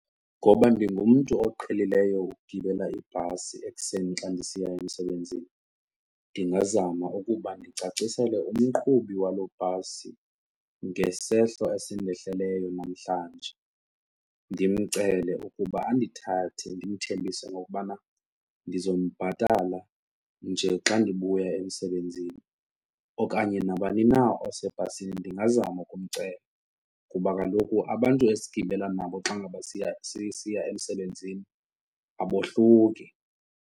Ngoba ndingumntu oqhelileyo ukugibela ibhasi ekuseni xa ndisiya emsebenzini ndingazama ukuba ndicacisele umqhubi waloo bhasi ngesehlo esindehleleyo namhlanje. Ndimcele ukuba andithathe ndimthembise ngokubana ndizowumbhatala nje xa ndibuya emsebenzini okanye nabani na osebhasini ndingazama ukumcela kuba kaloku abantu esigqibela nabo xa ngaba siya, sisiya emsebenzini abohluki.